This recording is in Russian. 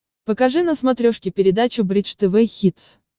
покажи на смотрешке передачу бридж тв хитс